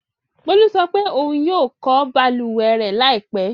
Bólú sọ pé ohun yóò ko balùwẹ̀ rẹ̀ láìpẹ́.